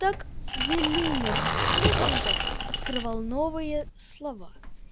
так велимир хлебников открывал новые слова